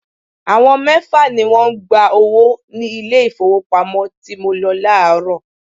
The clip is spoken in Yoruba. Àwọn mẹ́fà ni wọ́n ń gba owó ní ilé ìfowópamọ́ tí mo lọ láàárọ̀.